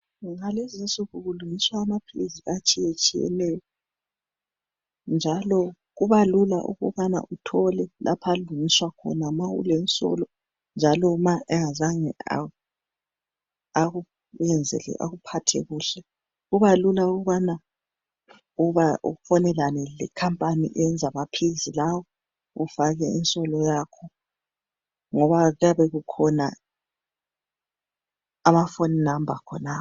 ngalezinsuku kulungiswa amaphilisi atshiyetshiyeneyo njalo kuba lula ukubana uthole lapha alungiswa khona a ulensolo njalo ma engazange akuphathe kuhle kuba lula ukubana ufonelane le company eyenza amaphilisi lawa ufake insolo yakho ngoba kuyabe kukhona ama phone number khonapho